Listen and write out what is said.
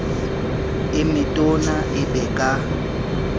e metona e be ka